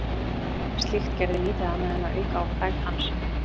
Slíkt gerði lítið annað en að auka á frægð hans.